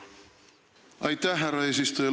Aitäh, härra eesistuja!